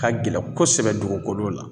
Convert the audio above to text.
Ka gɛlɛn kosɛbɛ dugukolo la